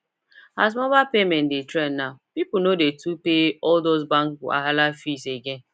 as mobile payment dey trend now people no too dey pay all those bank wahala fees again